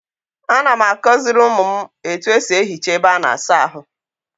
A na m akoziri umu m etu esi ehicha ebe a na-asa ahu.